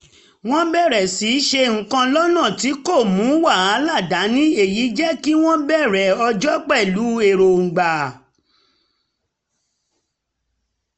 wọ́n bẹ̀rẹ̀ sí í ṣe nǹkan lọ́nà tí kò mú wàhálà dání èyí jẹ́ kí wọ́n bẹ̀rẹ̀ ọjọ́ pẹ̀lú èròńgbà